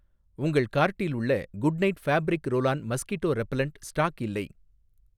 உங்கள் கார்ட்டில் உள்ள Good Knight fabric roll on mosquito repellent stock இல்லை